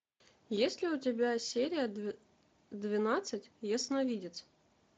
есть ли у тебя серия двенадцать ясновидец